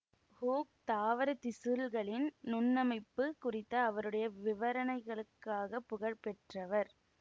hook தாவரத் திசுள்களின் நுண்ணமைப்பு குறித்த அவருடைய விவரணைகளுக்காக புகழ் பெற்றவர்